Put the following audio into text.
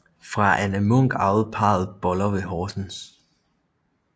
Fra Anne Munk arvede parret Boller ved Horsens